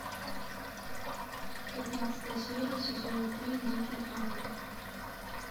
пятнадцатая серия сезона три дикий ангел